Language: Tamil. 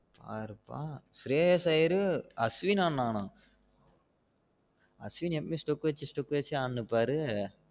பாருப்பா சிரேஸ் அய்யரு அஸ்வின் ஆடுனா அஸ்வின் எப்பவும் step வச்சு step வச்சு ஆடிட்டு இருபாரு